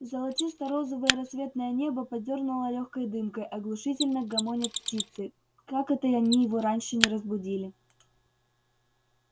золотисто-розовое рассветное небо подёрнуто лёгкой дымкой оглушительно гомонят птицы как это они его раньше не разбудили